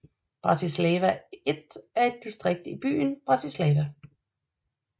Bratislava I er et distrikt i byen Bratislava